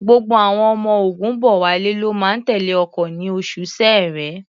Gbogbo àwọn ọmọ Ògúnbọ̀wálé ló máa tẹ̀lé ọkọ̀ ní oṣù Ṣẹẹrẹ.